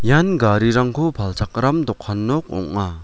ian garirangko palchakram dokan nok ong·a.